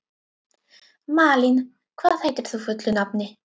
Malín, hvað heitir þú fullu nafni?